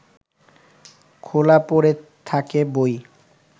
খোলা পড়ে থাকে বই